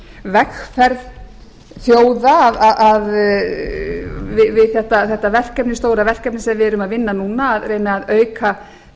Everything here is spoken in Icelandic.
vegferð þjóða við þetta stóra verkefni sem við erum að vinna núna að reyna að auka